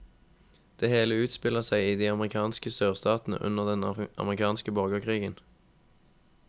Det hele utspiller seg i de amerikanske sørstatene under den amerikanske borgerkrigen.